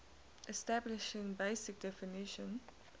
establishing basic definition